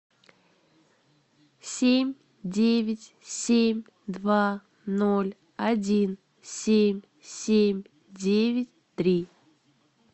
семь девять семь два ноль один семь семь девять три